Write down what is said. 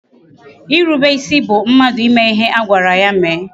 Irube isi bụ mmadụ ime ihe a gwara ya mee